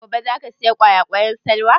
Gobe za ki saya ƙwayaƙwan Salwa?